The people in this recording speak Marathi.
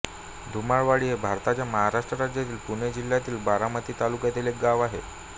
धुमाळवाडी हे भारताच्या महाराष्ट्र राज्यातील पुणे जिल्ह्यातील बारामती तालुक्यातील एक गाव आहे